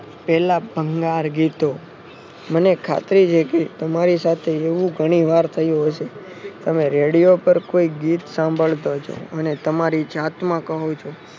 પેલા ભંગાર ગીતો મને ખાતરી છે કે તમારી સાથે એવું ઘણી વાર થયું હશે તમે રેડિયો પર કોઈ ગીત સાંભળતા છો અને તમારી જાતમાં કહો છો.